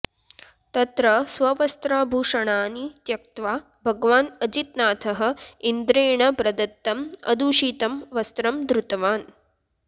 तत्र स्ववस्त्राभूषणानि त्यक्त्वा भगवान् अजितनाथः इन्द्रेण प्रदत्तम् अदूषितं वस्त्रं धृतवान्